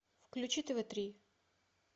включи тв три